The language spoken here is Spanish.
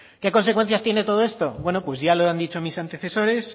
qué consecuencias tiene todo esto bueno pues ya lo han dicho nuestros antecesores